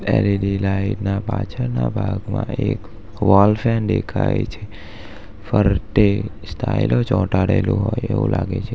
L E D light ના પાછળના ભાગમાં એક વોલ ફેન દેખાય છે ફરતે સ્ટાઈલો ચોંટાડેલું હોય એવું લાગે છે.